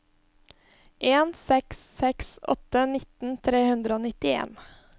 en seks seks åtte nitten tre hundre og nittien